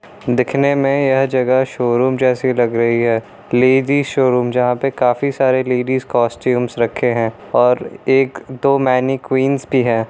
दिखनें में यह जगह शोरूम जैसी लग रही है लेडिज शोरूम जहाँ पे काफी सारे लेडीज कॉस्ट्यूम्स रखे हैं और एक दो मैनीक़्वीनस भी है।